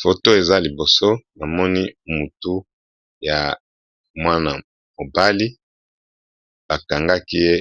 Photo oyo eza liboso na nga, namoni mutu ya ndeko mobali pe bakangi ye